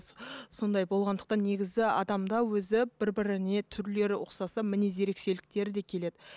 сондай болғандықтан негізі адамда өзі бірі біріне түрлері ұқсаса мінез ерекшеліктері де келеді